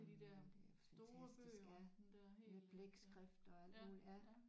Mh det er fantastisk ja med blækskrift og alt muligt ja